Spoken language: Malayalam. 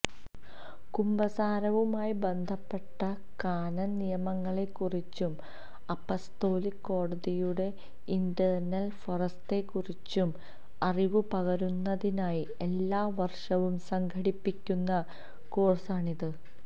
കുമ്പസാരവുമായി ബന്ധപ്പെട്ട കാനൻ നിയമങ്ങളെക്കുറിച്ചും അപ്പസ്തോലിക കോടതിയുടെ ഇന്റേണൽ ഫോറത്തെക്കുറിച്ചും അറിവു പകരുന്നതിനായി എല്ലാ വർഷവും സംഘടിപ്പിക്കുന്ന കോഴ്സാണിത്